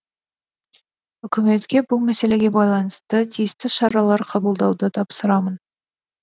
үкіметке бұл мәселеге байланысты тиісті шаралар қабылдауды тапсырамын